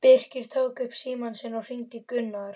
Birkir tók upp símann sinn og hringdi í Gunnar.